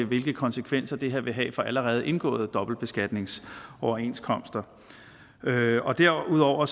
hvilke konsekvenser det her vil have for allerede indgåede dobbeltbeskatningsoverenskomster derudover derudover